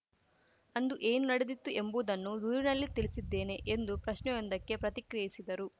ಅಂದು ಏನು ನಡೆದಿತ್ತು ಎಂಬುದನ್ನು ದೂರಿನಲ್ಲಿ ತಿಳಿಸಿದ್ದೇನೆ ಎಂದು ಪ್ರಶ್ನೆಯೊಂದಕ್ಕೆ ಪ್ರತಿಕ್ರಿಯಿಸಿದರು